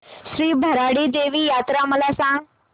श्री भराडी देवी यात्रा मला सांग